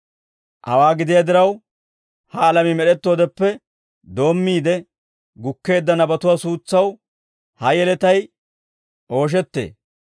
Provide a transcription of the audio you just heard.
Hawaa gidiyaa diraw, ha alamii med'ettoodeppe doommiide gukkeedda nabatuwaa suutsaw ha yeletay ooshettee.